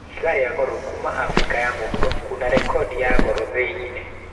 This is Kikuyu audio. Ihiga rĩa goro kuma Afrika ya mũhuro kuna rekondi ya goro thĩ-inĩ.